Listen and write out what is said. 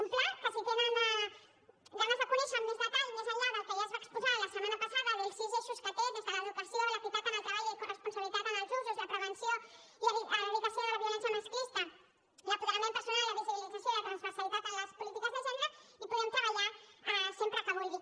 un pla que si tenen ganes de conèixer lo amb més detall més enllà del que ja es va exposar la setmana passada dels sis eixos que té des de l’educació l’equitat en el treball i corresponsabilitat en els usos la prevenció i erradicació de la violència masclista l’apoderament personal la visibilització i la transversalitat en les polítiques de gènere hi podem treballar sempre que vulgui